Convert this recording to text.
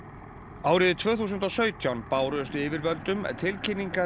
árið tvö þúsund og sautján bárust yfirvöldum tilkynningar